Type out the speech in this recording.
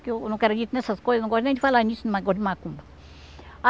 Que eu não acredito nessas coisas, não gosto nem de falar nisso de negócio de macumba.